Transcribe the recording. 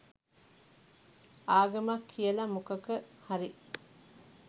ආගමක් කියල මොකක හරි